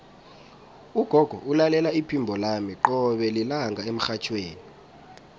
ugogo ulalela iphimbo lami qobe lilanga emrhatjhweni